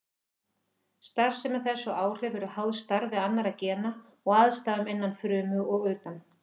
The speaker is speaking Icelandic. Starfsemi þess og áhrif eru háð starfi annarra gena og aðstæðum innan frumu og utan.